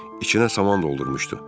İçinə saman doldurmuşdu.